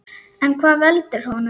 En hvað veldur honum?